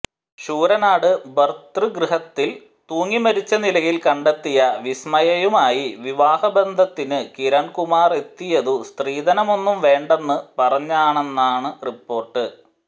ശൂരനാട് ഭർതൃഗൃഹത്തിൽ തൂങ്ങിമരിച്ച നിലയിൽ കണ്ടെത്തിയ വിസ്മയയുമായി വിവാഹബന്ധത്തിനു കിരൺകുമാറെത്തിയതു സ്ത്രീധനമൊന്നും വേണ്ടെന്നു പറഞ്ഞാണെന്നു റിപ്പോർട്ട്